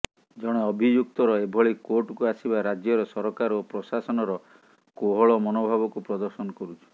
ଜଣେ ଅଭିଯୁକ୍ତର ଏଭଳି କୋର୍ଟକୁ ଆସିବା ରାଜ୍ୟର ସରକାର ଓ ପ୍ରଶାସନର କୋହଳ ମନୋଭାବକୁ ପ୍ରଦର୍ଶନ କରୁଛି